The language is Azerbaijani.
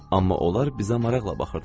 Amma onlar bizə maraqla baxırdılar.